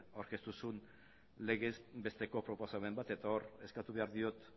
aurkeztu zuen legez besteko proposamen bat eta hor eskatu behar diot